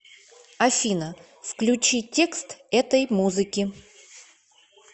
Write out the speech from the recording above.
афина включи текст этой музыки